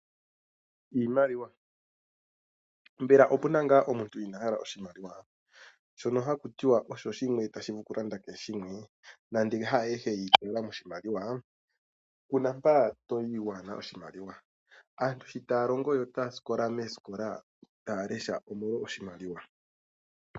Iimaliwa. Mbela opuna ngaa omuntu inaa hala oshimaliwa? Shono haku tiwa osho shimwe tashi vulu okulanda kehe shimwe . Nande haayehe yiitaala moshimaliwa kuna mpoka toyi waana oshimaliwa. Aantu sho taya longo notaya lesha moositola omolwa oshimaliwa.